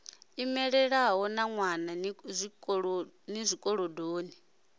emeḽi no ḓiwana ni zwikolodoni